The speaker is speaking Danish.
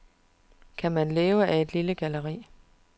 Kan man leve af et lille galleri?